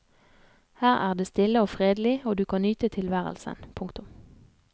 Her er det stille og fredelig og du kan nyte tilværelsen. punktum